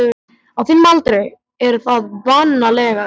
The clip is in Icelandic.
Á þínum aldri er það vanalega sinin.